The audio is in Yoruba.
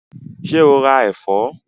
Ṣé o ra ẹ̀fọ́?